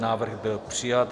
Návrh byl přijat.